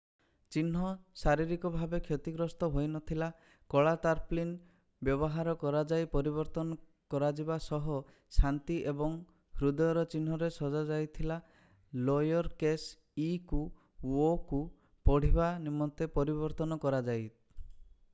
ଚିହ୍ନ ଶାରୀରିକ ଭାବେ କ୍ଷତିଗ୍ରସ୍ତ ହୋଇନଥିଲା କଳା ତାରପ୍ଳିନ ବ୍ୟବହାର କରାଯାଇ ପରିବର୍ତ୍ତନ କରାଯିବା ସହ ଶାନ୍ତି ଏବଂ ହୃଦୟର ଚିହ୍ନରେ ସଜା ଯାଇଥିଲା ଲୋୟର କେସ୍ ଇ କୁ ଓ କୁ ପଢିବା ନିମନ୍ତେ ପରିବର୍ତ୍ତନ କରଯାଇ